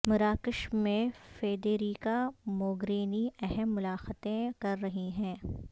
مراکش میں Federica Mogherini اہم ملاقاتیں کر رہی ہیں